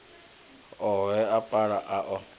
ohe a paia a o